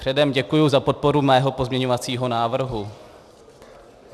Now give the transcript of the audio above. Předem děkuji za podporu mého pozměňovacího návrhu.